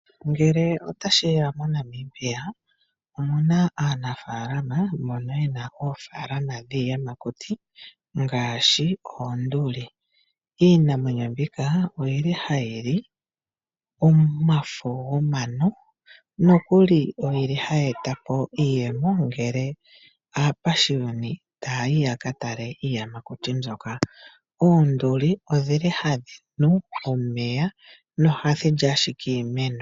Ngele otashi ya moNamibia, omu na aanafaalama mbono ye na oofaalama shiiyamakuti ngaashi oonduli. Iimwenyo mbika oyi li hayi li omafo gomano nokuli oyi li hayi eta po iiyemo ngele aapashiyoni taa yi ya ka tale iiyamakuti mbyoka. Oonduli odhi li hadhi nu omeya nohadhi li ashike iimeno.